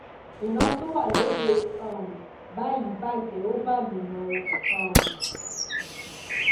ìran tó wà lóde um báyìí bàjẹ ò bàlùmọ o um